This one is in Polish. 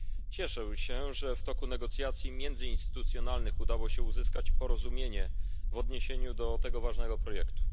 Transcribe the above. Cieszę się, że w toku negocjacji międzyinstytucjonalnych udało się uzyskać porozumienie w odniesieniu do tego ważnego projektu.